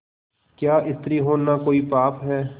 क्या स्त्री होना कोई पाप है